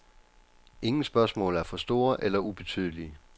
Ingen spørgsmål er for store eller ubetydelige.